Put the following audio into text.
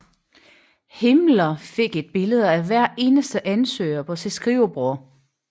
Himmler fik et billede af hver eneste ansøger på sit skrivebord